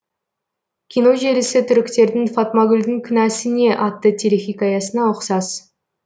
кино желісі түріктердің фатмагүлдің кінәсі не атты телехикаясына ұқсас